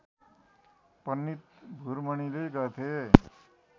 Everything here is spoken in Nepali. पण्डित भुरमणिले गर्थे